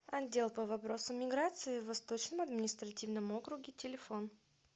отдел по вопросам миграции в восточном административном округе телефон